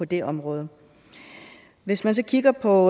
det område hvis man så kigger på